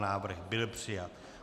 Návrh byl přijat.